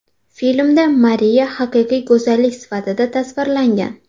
Filmda Mariya haqiqiy go‘zallik sifatida tasvirlangan.